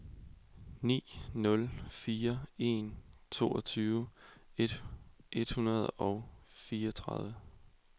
ni nul fire en toogtyve et hundrede og fireogtredive